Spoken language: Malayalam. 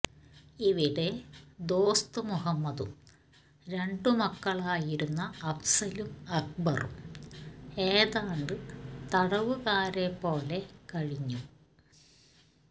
ഇവിടെ ദോസ്ത് മുഹമ്മദും രണ്ടു മക്കളായിരുന്ന അഫ്സലും അക്ബറും ഏതാണ്ട് തടവുകാരെപ്പോലെ കഴിഞ്ഞു